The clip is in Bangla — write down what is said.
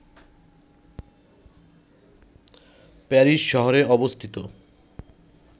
প্যারিস শহরে অবস্থিত